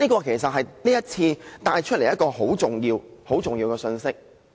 這是這次辯論所帶出的一個很重要的信息。